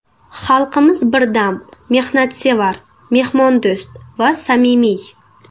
Xalqimiz birdam, mehnatsevar, mehmondo‘st va samimiy.